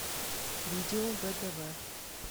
видео вдв